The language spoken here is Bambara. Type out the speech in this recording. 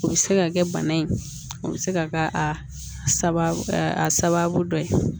O bɛ se ka kɛ bana in o bɛ se ka kɛ a sababu dɔ ye